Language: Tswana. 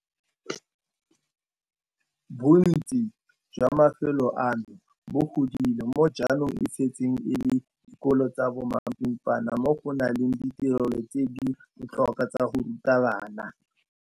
Bontsi jwa mafelo ano bo godile mo jaanong e setseng e le dikolo tsa bo mapimpana mo go nang le ditirelo tse di botlhokwa tsa go ruta bana.